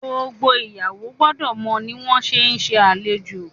gbogbo ìyàwó gbódò mọ ní wón ṣe nse alejò